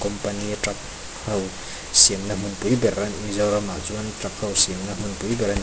company a truck ho siam na hmun pui ber mizoram ah chuan truck ho siam na hmun pui ber.